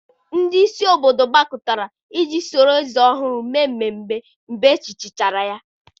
ndị isi obodo gbakọtara iji soro eze ọhụrụ mee ememe mgbe echichichara ya.